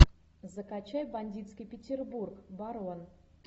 закачай бандитский петербург барон